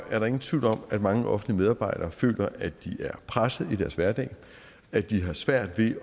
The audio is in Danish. er der ingen tvivl om at mange offentlige medarbejdere føler at de er pressede i deres hverdag at de har svært ved at